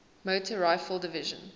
motor rifle division